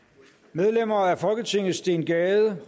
medlemmer af folketinget steen gade